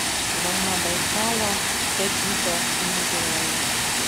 волна байкала пять литров негазированная